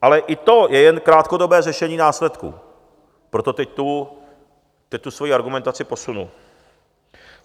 Ale i to je jen krátkodobé řešení následků, proto teď tu svoji argumentaci posunu.